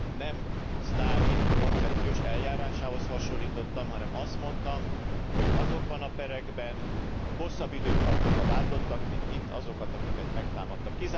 Nem Sztálin koncepciós eljárásához hasonlítottam, hanem azt mondtam, hogy azokban a perekben hosszabb időt kaptak a vádlottak, mint itt azok, akiket megtámadtak.